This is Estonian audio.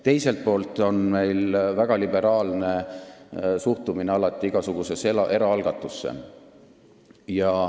Teiselt poolt on meil alati olnud väga liberaalne suhtumine igasugusesse eraalgatusse.